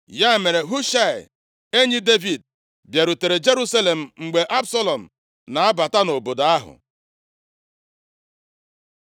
Ya mere Hushaị, enyi Devid, bịarutere Jerusalem mgbe Absalọm na-abata obodo ahụ.